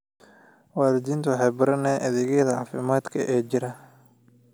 Waalidiintu waxay baranayaan adeegyada caafimaadka ee jira.